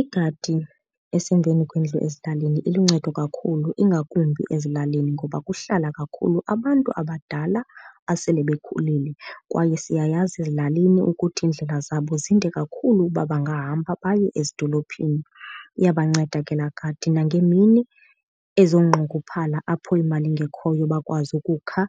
Igadi esemveni kwendlu ezilalini iluncedo kakhulu, ingakumbi ezilalini ngoba kuhlala kakhulu abantu abadala abasele bekhulile. Kwaye siyayazi ezilalini ukuthi iindlela zabo zinde kakhulu uba bangahamba baye ezidolophini. Iyabanceda ke laa gadi nangeemini ezonqongophalo apho imali ingekhoyo, bakwazi ukukha